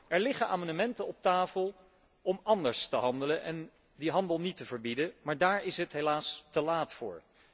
Er liggen amendementen op tafel om anders te handelen en die handel niet te verbieden, maar daar is het helaas te laat voor.